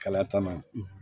Kalaya tan na